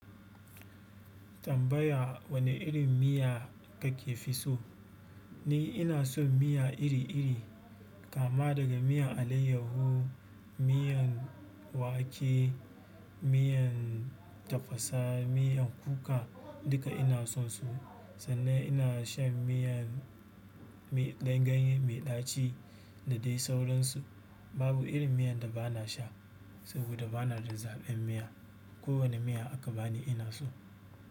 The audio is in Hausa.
Tambaya wane irin miya kake fi so? Ni ina son miya iri-iri, kama daga miyan alayyahu, miyan wake, miyan tafasa, miyan kuka duka ina sonsu sannan ina shan miyan ganye mai ɗaci da dai sauransu. Babu irin miyan da ba na sha saboda ba na da zaɓin miya. Ko wane miya aka bani ina so.